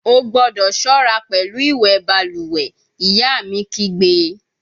O gbọdọ ṣọra pẹlu iwẹ baluwe, iya mi kigbe!